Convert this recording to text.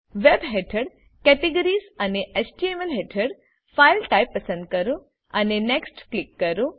web હેઠળ categories અને HTMLહેઠળ ફાઇલ ટાઇપ્સ પસંદ કરો અને નેક્સ્ટ ક્લિક કરો